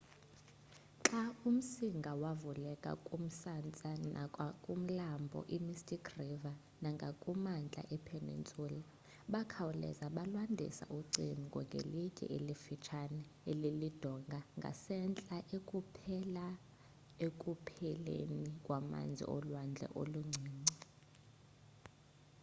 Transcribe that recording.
xa umsinga wavula umsantsa ngakumlambo i mystic river nangakumantla e peninsula, bakhawuleza balwandisa ucingo ngelitye elifuthsane elilidonga ngasentla eliphela ekupheleni kwamazi olwandle oluncinci